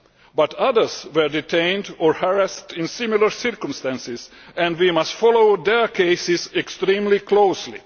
But others were detained or harassed in similar circumstances and we must follow their cases extremely closely.